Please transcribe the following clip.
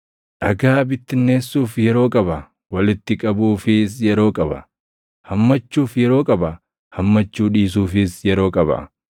dhagaa bittinneessuuf yeroo qaba; walitti qabuufis yeroo qaba; hammachuuf yeroo qaba; hammachuu dhiisuufis yeroo qaba;